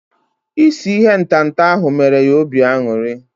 Isi ihe ntata ahu mere ya obi aṅụrị